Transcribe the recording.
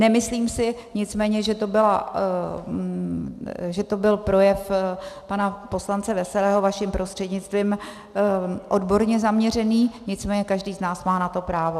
Nemyslím si nicméně, že to byl projev pana poslance Veselého, vaším prostřednictvím, odborně zaměřený, nicméně každý z nás má na to právo.